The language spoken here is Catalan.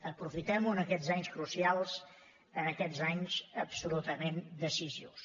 aprofitem ho en aquests anys crucials en aquests anys absolutament decisius